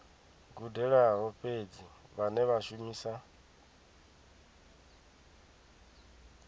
gudelaho fhedzi vhane vha shumisa